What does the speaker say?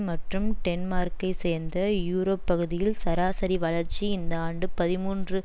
மற்றும் டென்மார்க்கை சேர்த்த யூரோப் பகுதியில் சராசரி வளர்ச்சி இந்த ஆண்டு பதிமூன்று